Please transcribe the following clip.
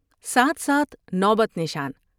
ساتھ ساتھ نوبت نشان ۔